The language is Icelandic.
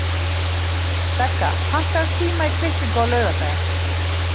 Begga, pantaðu tíma í klippingu á laugardaginn.